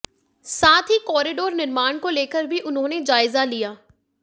साथ ही कॅारीडोर निर्माण को लेकर भी उन्होने जायजा लिया